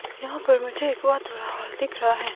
यहां पर मुझे एक बहुत बड़ा हॉल दिख रहा है।